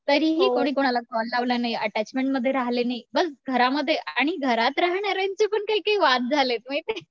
तरीही कोणी कुणाला कॉल लावला नाही अटेचमेंटमध्ये राहिले नाही. बस घरामध्ये आणि घरात राहणाऱ्यांची पण काही काही वाद झाले माहितीये.